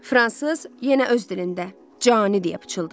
Fransız yenə öz dilində cani deyə pıçıldadı.